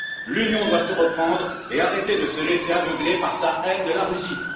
L'Union doit se reprendre et arrêter de se laisser aveugler par sa haine de la Russie.